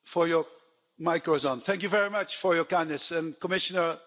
Mr President, thank you very much for your kindness, and Commissioner, thank you.